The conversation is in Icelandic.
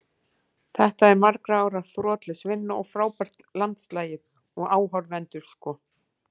Þetta er margra ára þrotlaus vinna og frábært landslið, og áhorfendur sko.